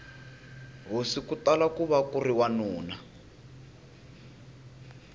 hosi kutala kuva kuri wanuna